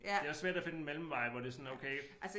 Det også svært at finde en mellemvej hvor det sådan okay